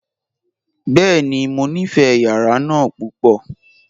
Bẹ́ẹ̀ni, mọ nífé yàrà náà púpọ.